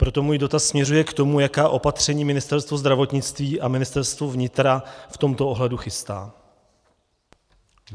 Proto můj dotaz směřuje k tomu, jaká opatření Ministerstvo zdravotnictví a Ministerstvo vnitra v tomto ohledu chystá.